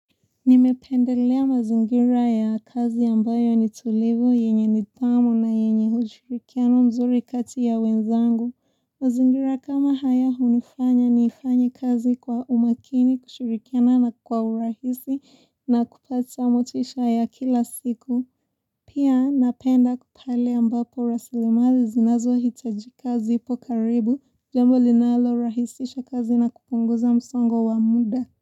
Nimependelea mazingira ya kazi ambayo nitulivu yenye nidhamu na yenye ushirikiano mzuri kati ya wenzangu. Mazingira kama haya hunifanya niifanye kazi kwa umakini kushurikiana na kwa urahisi na kupata motisha ya kila siku. Pia napenda ku pale ambapo rasilimali zinazo hitajika zipo karibu jambo linalo rahisisha kazi na kupunguza msongo wa muda.